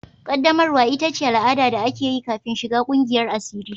Ƙaddamarwa ita ce al'ada da ake yi kafin shiga ƙungiyar asiri.